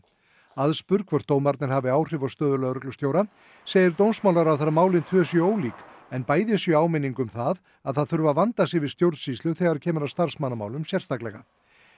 aðspurð hvort dómarnir hafi áhrif á stöðu lögreglustjóra segir dómsmálaráðherra að málin tvö séu ólík en bæði séu áminning um að að það þurfi að vanda sig við stjórnsýslu þegar kemur að starfsmannamálum sérstaklega